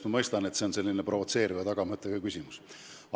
Ma mõistan, et see on selline provotseeriva tagamõttega küsimus.